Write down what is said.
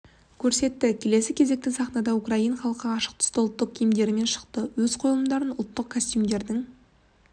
көрсетті келесі кезекте сахнада украин халқы ашық түсті ұлттық киімдерімен шықты өз қойылымдарын ұлттық костюмдердің